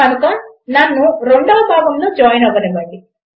కనుక నన్ను 2వ భాగములో జాయిన్ అవ్వండి